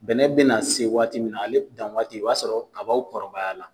Bɛnɛ bɛna na se waati min na, ale kan waati o b'a sɔrɔ kaba kɔrɔbaya la.